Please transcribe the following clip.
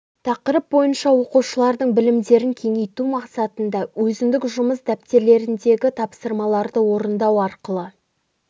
тақырып бойынша оқушылардың білімдерін кеңейту мақсатында өзіндік жұмыс дәптерлеріндегі тапсырмаларды орындау арқылы